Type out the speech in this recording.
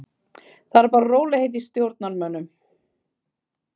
Það eru bara rólegheit í stjórnarmönnum.